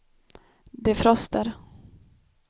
defroster